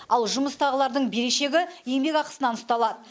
ал жұмыстағылардың берешегі еңбекақысынан ұсталады